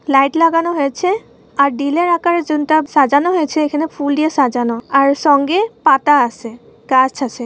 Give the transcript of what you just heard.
Light লাগানো হয়েছে আর দিলের আকারের জিনটা সাজানো হয়েছে এখানে ফুল দিয়ে সাজানো আর সঙ্গে পাতা আছে গাছ আছে।